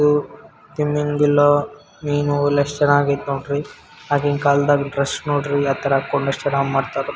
ತುಂಬ್ಯಂಗಿಲ್ಲ ಮೀನು ಎಲ್ಲ ಎಷ್ಟು ಚೆನ್ನಾಗೈತೆ ನೋಡ್ರಿ ಆಗಿನ್ ಕಾಲದಲ್ಲಿ ಡ್ರೆಸ್ಸ್ ನೋಡ್ರಿ ಯಾವ್ತರ ಹಾಕೊಂಡು ಅಷ್ಟು ಚೆನ್ನಾಗ್ ಮಾಡ್ತಾರೆ.